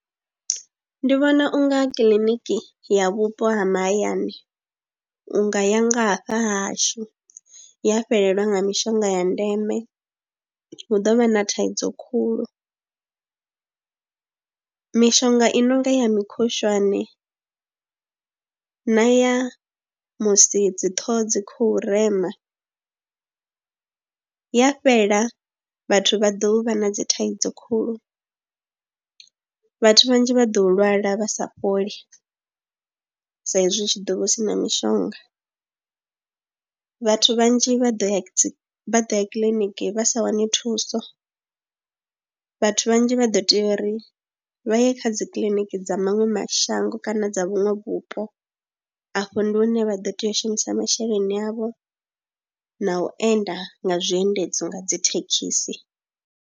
Ndi vhona u nga kiḽiniki ya vhupo ha mahayani u nga ya nga hafha hashu ya fhelelwa nga mishonga ya ndeme hu ḓo vha na thaidzo khulu, mishonga i no nga ya mikhushwane na ya musi dzi ṱhoho dzi khou rema ya fhela vhathu vha ḓo vha na dzi thaidzo khulu. Vhathu vhanzhi vha ḓo lwala vha sa fholi sa izwi hu tshi ḓo vha hu si na mishonga, vhathu vhanzhi vha ḓo ya vha ḓo ya kiḽiniki vha sa wane thuso, vhathu vhanzhi vha ḓo tea uri vha ye kha dzi kiḽiniki dza maṅwe mashango kana dza vhuṅwe vhupo afho ndi hune vha ḓo tea u shumisa masheleni avho na u enda nga zwiendedzi nga dzi thekhisi.